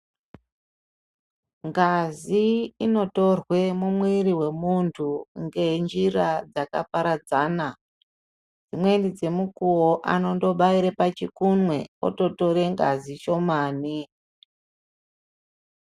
Ngazi inotorwa mumwiri wemuntu ngenjira dzakaparadzana dzimweni dzemukuwo, anondobaira pachikunwe ototora ngazi shomane.